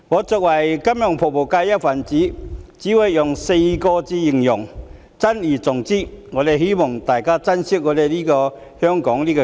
作為金融服務界的一分子，我只會說4個字珍而重之，希望大家都珍惜香港這個家。